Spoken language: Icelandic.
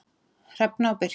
Hrefna og Birkir.